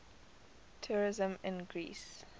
tourism in greece